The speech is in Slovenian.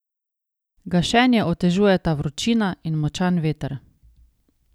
Gašenje otežujeta vročina in močan veter.